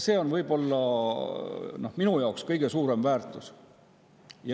See on minu jaoks võib-olla kõige suurem väärtus.